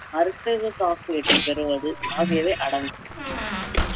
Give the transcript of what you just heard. மருத்துவ காப்பீட்டைப் பெறுவது ஆகியவை அடங்கும்